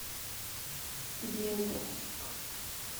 дедовск